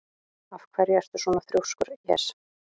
Af hverju ertu svona þrjóskur, Jes?